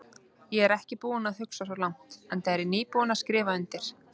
Ég er ekki búinn að hugsa svo langt, enda er ég nýbúinn að skrifa undir.